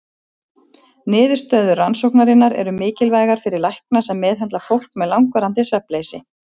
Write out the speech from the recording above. Niðurstöður rannsóknarinnar eru mikilvægar fyrir lækna sem meðhöndla fólk með langvarandi svefnleysi.